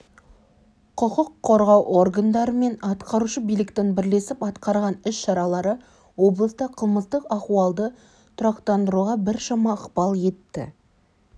құқық қорғау органдары мен атқарушы биліктің бірлесіп атқарған іс-шаралары облыста қылмыстық ахуалды тұрақтандыруға біршама ықпал етті